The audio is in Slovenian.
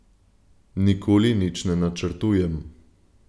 Nikoli nič ne načrtujem.